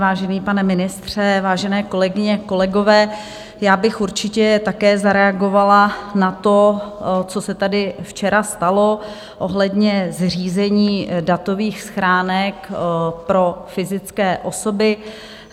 Vážený pane ministře, vážené kolegyně, kolegové, já bych určitě také zareagovala na to, co se tady včera stalo ohledně zřízení datových schránek pro fyzické osoby.